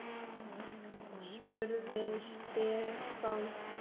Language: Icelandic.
spurði Stefán.